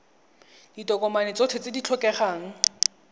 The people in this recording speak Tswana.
ditokomane tsotlhe tse di tlhokegang